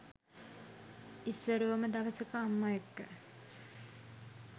ඉස්සරෝම දවසක අම්ම එක්ක